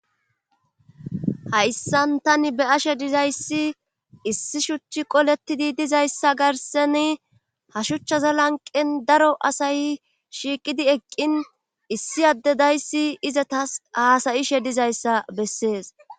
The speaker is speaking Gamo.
Hayssan tani be7ashe dizayssi issi shuchi qolettidu dizayssa garssani Ha shuchaza lanqqen daro asati shiiqidi eqqin issi adde sldizayssi izatas haasayishe dizayssa bessees.